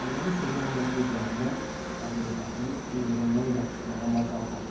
Əlləri isə yalnız bu cəhənnəm bədheybətinin quyruğundan yapışmağa macal tapdı.